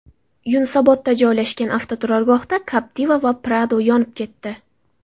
Yunusobodda joylashgan avtoturargohda Captiva va Prado yonib ketdi.